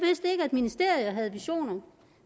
ministerier havde visioner